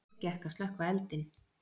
Vel gekk að slökkva eldinn.